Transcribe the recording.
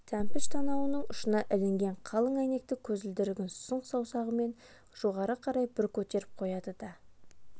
тәмпіш танауының ұшына ілінген қалың әйнекті көзілдірігін сұқ саусағымен жоғары қарай бір көтеріп қояды да